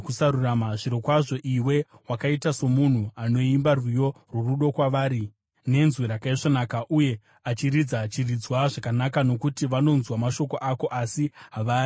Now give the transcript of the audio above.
Zvirokwazvo, iwe wakaita somunhu anoimba rwiyo rworudo kwavari nezwi rakaisvonaka uye achiridza chiridzwa zvakanaka, nokuti vanonzwa mashoko ako asi havaaiti.